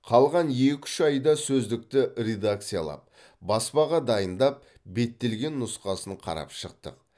қалған екі үш айда сөздікті редакциялап баспаға дайындап беттелген нұсқасын қарап шықтық